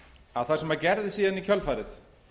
að það sem gerðist síðan í kjölfarið